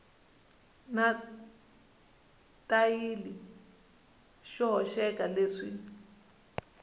na xitayili xo hoxeka leswi